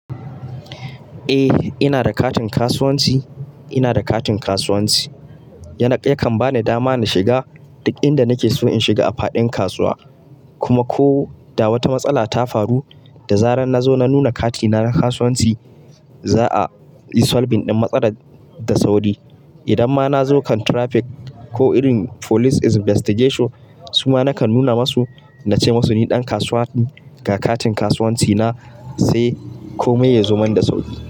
Eh ina da katin kasuwanci, ina da katin kasuwanci. Yakan bani dama na shiga duk inda nake so in shiga a faɗin kasuwa kuma ko da wata matsala ta faru da zarar na zo na nuna katina na kasuwanci za'a yi solbin ɗin matsalar da sauri. Idan ma na zo kan traffic ko irin police investigation su ma nakan nuna musu na ce masu ni ɗan kasuwa ne ga katin kasuwanci na sai komai ya zo mun da sauki.